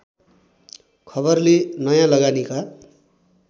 खबरले नयाँ लगानीका